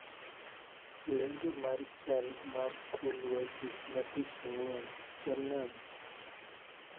Lendo mar chal mar kor lwasi ma tich ang'wen chal nade